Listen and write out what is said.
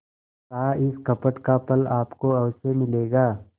कहाइस कपट का फल आपको अवश्य मिलेगा